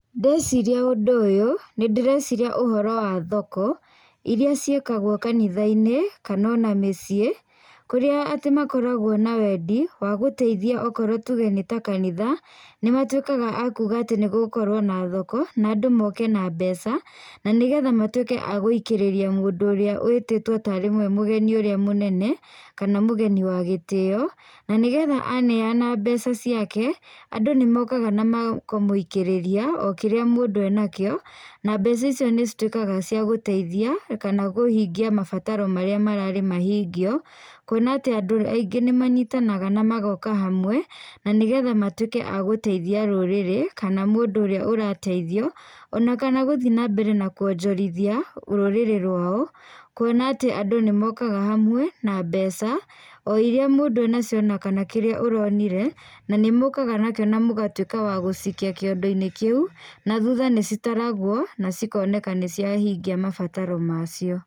Ndeciria ũndũ ũyũ, nĩ ndĩreciria ũhoro wa thoko, irĩa cíĩkagwo kanitha-ĩnĩ, kana ona mĩcĩi, kũria atĩ makoragwo na wendi wa gũteithia okorwo tuge nĩ ta kanitha, ni matũĩkaga akuga nĩ gũgũkorwo na thoko na andũ moke na mbeca, na nĩ getha matũĩke a gũikĩrĩria mũndũ ũrĩa wĩtĩtwo tarĩwe mugeni ũrĩa mũnene, kana mũgeni wa gĩtĩo, na nĩ getha aneana mbeca ciake, andu nĩ mokaga na makamũĩkiĩrĩria okĩrĩa mũndũ ena kĩo, na mbeca icio nĩ citũĩkaga cia gũteithia, kana kũhingia mabataro marĩa mararĩ mahingio, kũona atĩ andũ aingĩ nĩ manyitanaga na magoka hamwe na nĩ getha matũĩke a gũteithia rurirĩ, kana mũndũ ũrĩa ũrateithio, ona kana guthĩ na mbere na kuonjirithia rũrĩrĩ rũao, kuona atĩ andũ nĩ mokaga hamwe, na mbeca oiria mũndũ enacio onakana kĩrĩa ũronire, na nĩ mũkaga nakĩo na mũgatwĩka agũcikia kĩondo-ĩnĩ kĩu na thutha nĩ citaragwo, na cikoneka nĩ ciahingia mabataro macio.